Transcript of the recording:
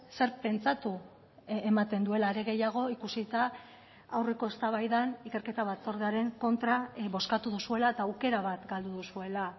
zer pentsatu ematen duela are gehiago ikusita aurreko eztabaidan ikerketa batzordearen kontra bozkatu duzuela eta aukera bat galdu duzuela